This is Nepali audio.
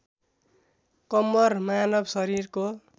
कम्मर मानव शरीरको